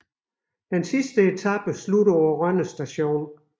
Sidste etape slutter på Rønne Stadion